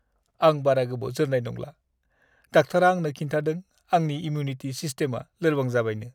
आं बारा गोबाव जोरनाय नंला। डाक्टारा आंनो खिन्थादों आंनि इमिउनिटि सिस्टेमआ लोरबां जाबायनो।